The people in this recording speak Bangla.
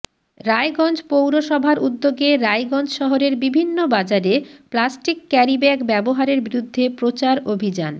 রায়গঞ্জ পৌরসভার উদ্যোগে রায়গঞ্জ শহরের বিভিন্ন বাজারে প্লাস্টিক ক্যারিব্যাগ ব্যাবহারের বিরুদ্ধে প্রচার অভিযান